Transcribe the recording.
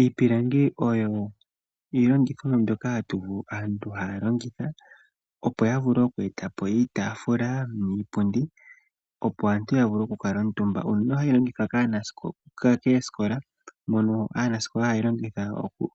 Iipilangi oyo iilongothomwa mbyoka aantu haya opo yavule oku eta opo iitafula niipundi opo aantu yavule oku kala omutumba. Oyo hayi longithwa kaanasikola haya longitha